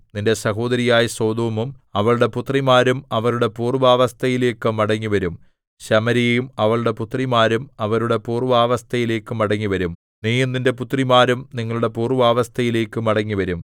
നിന്റെ സഹോദരിയായ സൊദോമും അവളുടെ പുത്രിമാരും അവരുടെ പൂർവ്വാവസ്ഥയിലേക്കു മടങ്ങിവരും ശമര്യയും അവളുടെ പുത്രിമാരും അവരുടെ പൂർവ്വാവസ്ഥയിലേക്കു മടങ്ങിവരും നീയും നിന്റെ പുത്രിമാരും നിങ്ങളുടെ പൂർവ്വാവസ്ഥയിലേക്കു മടങ്ങിവരും